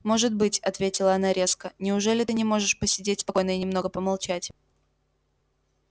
может быть ответила она резко неужели ты не можешь посидеть спокойно и немного помолчать